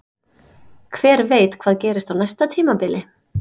Hver veit hvað gerist á næsta tímabili?